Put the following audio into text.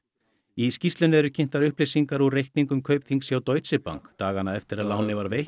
í skýrslunni eru kynntar upplýsingar úr reikningum Kaupþings hjá Deutsche Bank dagana eftir að lánið var veitt